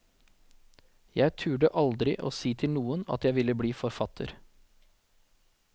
Jeg turde aldri å si til noen at jeg ville blir forfatter.